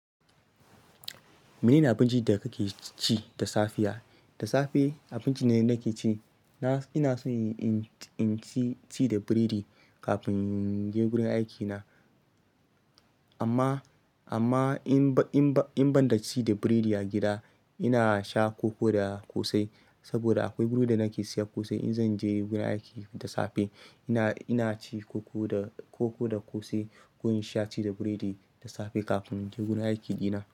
Mene ne abincin da kake ci da safiya? Da safe abincin da nake ci, ina son inci da biredi kafin in je gurin aikina. Amma, amma in ban, in ban, in ban da ci da biredi a gida, ina sha koko da kosai saboda akwai guri da nake siya kosai in zan je gurin aiki da safe. Ina, ina ci koko da, koko da kosai ko in sha tea da biredi da safe kafin in je gurin aiki ɗina.